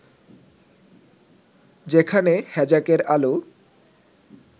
যেখানে হ্যাজাকের আলো